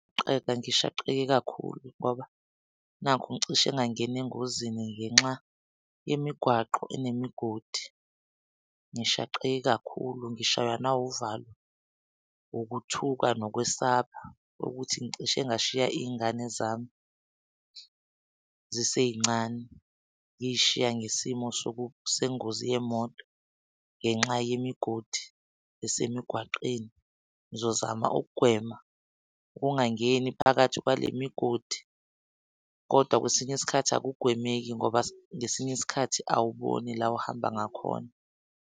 ngishaqekile kakhulu ngoba nakhu ngicishe engangena engozini ngenxa yemigwaqo enemigodi ngishaqeke kakhulu, ngishaywa nawuvalo, ukuthuka nokwesaba ukuthi ngicishe ngashiya iy'ngane zami zisey'ncane. Ngiy'shiya ngesimo soku sengozi yemoto ngenxa yemigodi esemigwaqeni. Ngizozama ukugwema ungangeni phakathi kwale migodi kodwa kwesinye isikhathi akugwemeki ngoba ngesinye isikhathi awuboni la ohamba ngakhona.